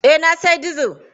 Eh, na sayi dizil.